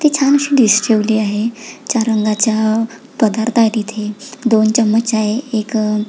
ते छानशी डिश ठेवली आहे रंगाचा पदार्थ आहे तिथे दोन चमच आहे एक--